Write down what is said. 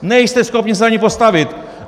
Nejste schopni se za ni postavit!